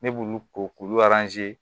Ne b'olu ko k'ulu